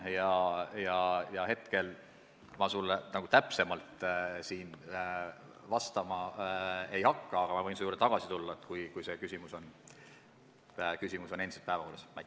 Hetkel ma sulle täpsemalt vastama ei hakka, aga võin selle juurde tagasi tulla, kui küsimus on hiljem endiselt päevakorral.